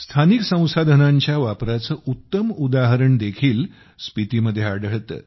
स्थानिक संसाधनांच्या वापराचे उत्तम उदाहरणदेखील स्पितीमध्ये आढळते